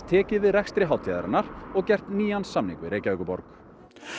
tekið við rekstri hátíðarinnar og gert nýjan samning við Reykjavíkurborg